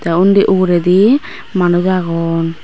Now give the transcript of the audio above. tey undi uguredi manuj agon.